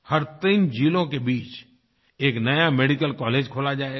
हर 3 ज़िलों के बीच एक नया मेडिकल कॉलेज खोला जाएगा